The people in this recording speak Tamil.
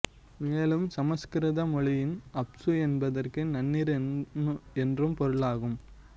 மேலும் சமசுகிருத மொழியில் அப்சு என்பதற்கு நன்னீர் என்றும் பொருளாகும்